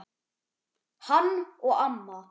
Hann og amma.